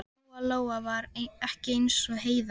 Lóa Lóa var ekki eins og Heiða